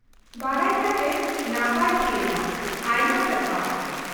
-ᱵᱟᱰᱟᱭ ᱠᱟᱛᱮᱫ ᱱᱟᱯᱟᱭ ᱦᱩᱭᱱᱟ, ᱟᱭᱢᱟ ᱥᱟᱨᱦᱟᱣ ᱾